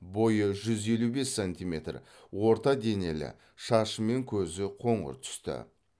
бойы жүз елу бес сантиметр орта денелі шашы мен көзі қоңыр түсті